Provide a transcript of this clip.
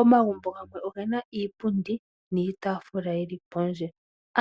Omagumbo gamwe ogena iipundi niitaafula yili pondje